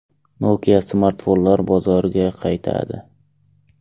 Nokia smartfonlar bozoriga qaytadi.